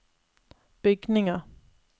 bygninger